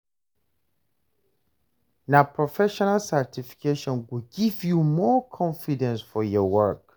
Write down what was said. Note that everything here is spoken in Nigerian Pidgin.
Na professional certification go give you more confidence for your work.